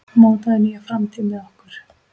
Mótaðu nýja framtíð með okkur!